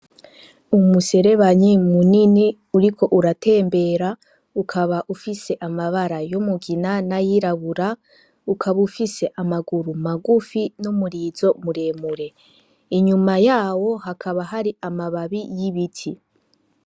Umuserebanyi munini uriko uratembera ukaba ufise amabara y'umugina nayirabura ukaba ufise amaguru magufi n' umurizo mure mure, inyuma yawo hakaba hari amababi y' ibiti.